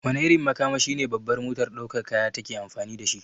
Wane irin makamashi ne babbar motar daukar kaya take amfani dashi?